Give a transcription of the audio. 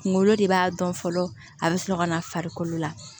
Kunkolo de b'a dɔn fɔlɔ a bɛ sɔrɔ ka na farikolo la